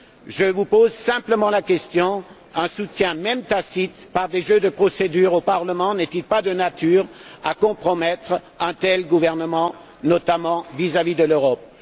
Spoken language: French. Je vous pose simplement la question un soutien même tacite par des jeux de procédure au Parlement n'est il pas de nature à compromettre un tel gouvernement, notamment vis à vis de l'Europe?